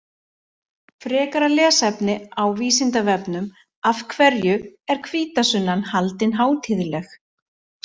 Frekara lesefni á Vísindavefnum Af hverju er hvítasunnan haldin hátíðleg?